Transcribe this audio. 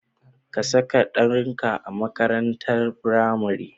Ka saka ɗanka a makaranatar firamare.